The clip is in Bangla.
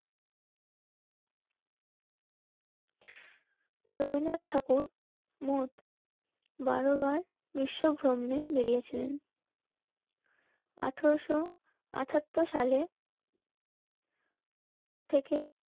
রবীন্দ্রনাথ ঠাকুর মোট বারো বার গ্রীষ্ম ভ্রমণে বেড়িয়েছিলেন. আঠারোশো আটাত্তর সালে থেকে